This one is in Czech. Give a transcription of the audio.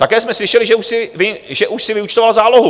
Také jsme slyšeli, že už si vyúčtoval zálohu.